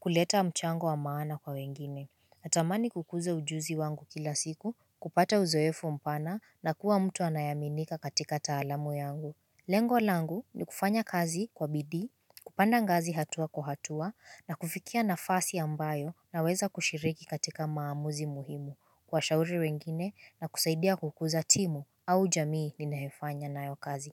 kuleta mchango wa maana kwa wengine. Natamani kukuza ujuzi wangu kila siku, kupata uzoefu mpana, na kuwa mtu anayeaminika katika taalamu yangu. Lengo langu, ni kufanya kazi kwa bidii, kupanda ngazi hatua kwa hatua, na kufikia nafasi ambayo, naweza kushiriki katika maamuzi muhimu. Kuwashauri wengine, na kusaidia kukuza timu au jamii ninayofanya nayo kazi.